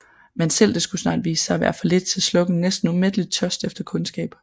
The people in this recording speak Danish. Men selv det skulle snart vise sig at være for lidt til at slukke en næsten umættelig tørst efter kundskab